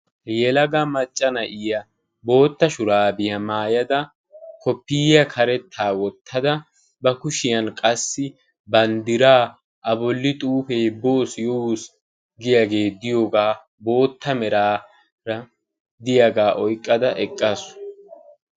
Yelaga macca na'iya bootta shuraabiya maayada, koppiyiya karettaa wottada, ba kushiyan qassi banddiraa A bolli xuufee boos yoos giyogee bootta meraara diyagaa oyqqada eqqaasu.